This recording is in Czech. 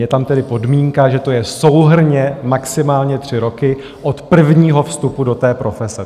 Je tam tedy podmínka, že to je souhrnně maximálně tři roky od prvního vstupu do té profese.